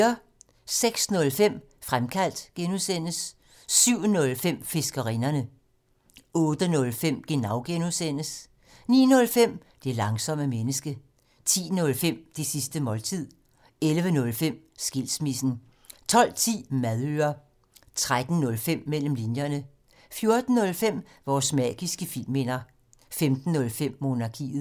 06:05: Fremkaldt (G) 07:05: Fiskerinderne 08:05: Genau (G) 09:05: Det langsomme menneske 10:05: Det sidste måltid 11:05: Skilsmissen 12:10: Madøre 13:05: Mellem linjerne 14:05: Vores magiske filmminder 15:05: Monarkiet